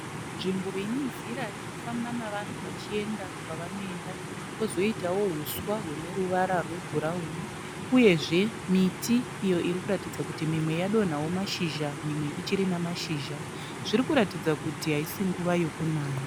Nzvimbo ine nzira inofamba navanhu vachienda kwavanoenda, kwozoitawo uswa hune ruvara rwebhurawuni uyezve miti iyo iri kuratidza kuti mimwe yadonhawo mashizha mimwe ichiri namashizha. Zviri kuratidza kuti haisi nguva yokunaya.